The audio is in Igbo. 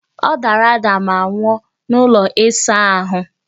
Ọ dara ada ma nwụọ n'ụlọ ịsa ahụ!